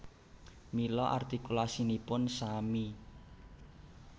Mila artikulasinipun sami